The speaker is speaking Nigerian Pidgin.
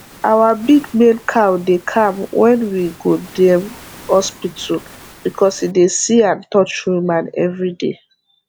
our big male cow dey calm wen we go dem hospital because e dey see and touch human every day